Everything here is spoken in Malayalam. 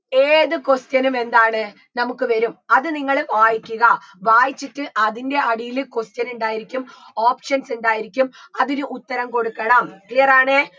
ഏത് question ഉം എന്താണ് നമുക്ക് വരും അത് നിങ്ങള് വായിക്കുക വായിച്ചിട്ട് അതിൻറെ അടിയില് question ഇണ്ടായിരിക്കും options ഇണ്ടായിരിക്കും അതിന് ഉത്തരം കൊടുക്കണം clear ആണേ